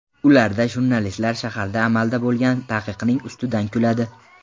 Ularda jurnalistlar shaharda amalda bo‘lgan taqiqning ustidan kuladi.